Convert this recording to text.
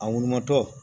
A wolomatɔ